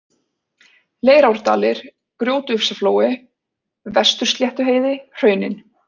Leirárdalir, Grjótufsaflói, Vestursléttuheiði, Hraunin